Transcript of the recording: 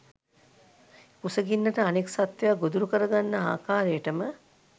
කුසගින්නට අනෙක් සත්වයා ගොදුරු කරගන්නා ආකාරයටම